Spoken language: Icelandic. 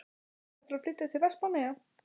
Ertu að fara að flytja til Vestmannaeyja?